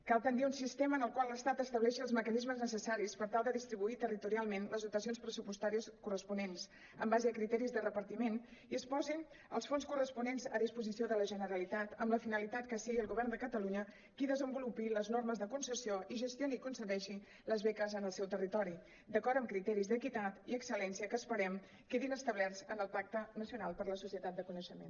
cal tendir a un sistema en el qual l’estat estableixi els mecanismes necessaris per tal de distribuir territorialment les dotacions pressupostàries corresponents en base a criteris de repartiment i que es posin els fons corresponents a disposició de la generalitat amb la finalitat que sigui el govern de catalunya qui desenvolupi les normes de concessió i gestioni i concedeixi les beques en el seu territori d’acord amb criteris d’equitat i excel·lència que esperem que quedin establerts en el pacte nacional per a la societat de coneixement